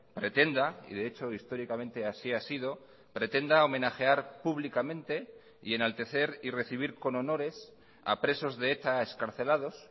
pretenda y de hecho históricamente así ha sido pretenda homenajear públicamente y enaltecer y recibir con honores a presos de eta excarcelados